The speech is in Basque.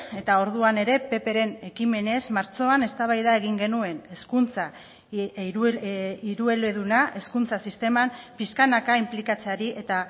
eta orduan ere ppren ekimenez martxoan eztabaida egin genuen hezkuntza hirueleduna hezkuntza sisteman pixkanaka inplikatzeari eta